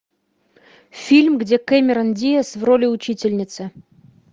фильм где кэмерон диаз в роли учительницы